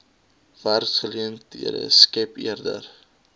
werksgeleenthede skep eerder